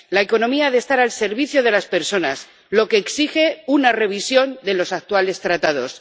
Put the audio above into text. La economía debe estar al servicio de las personas, lo que exige una revisión de los actuales Tratados.